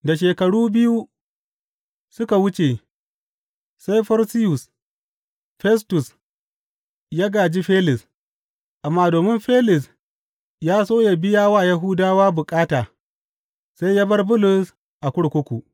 Da shekaru biyu suka wuce, sai Forsiyus Festus, ya gāji Felis, amma domin Felis ya so yă biya wa Yahudawa bukata, sai ya bar Bulus a kurkuku.